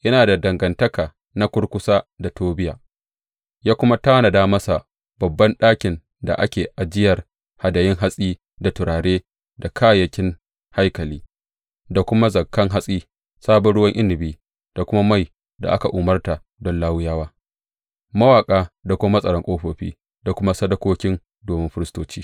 Yana da dangantaka na kurkusa da Tobiya, ya kuma tanada masa babban ɗakin da dā ake ajiyar hadayun hatsi da turare da kayayyaki haikali, da kuma zakan hatsi, sabon ruwan inabi da kuma mai da aka umarta don Lawiyawa, mawaƙa da kuma matsaran ƙofofi, da kuma sadakoki domin firistoci.